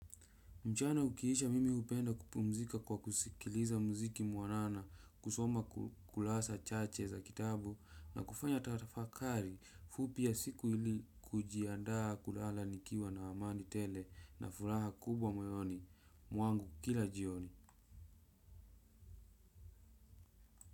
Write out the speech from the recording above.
Mchana ukiisha mimi upenda kupumzika kwa kusikiliza mziki muanana kusoma kulasa chache za kitabu na kufanya tafakari fupia ya siku ili kujiandaa kulala nikiwa na amani tele na furaha kubwa moyoni. Mwangu kila jioni.